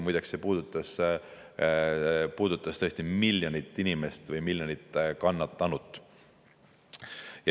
Muide, see puudutas miljonit inimest, miljonit kannatanut.